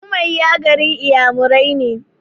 Ummuahia garin Inyamurai ne.